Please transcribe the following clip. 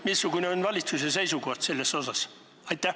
Missugune on valitsuse seisukoht selles osas?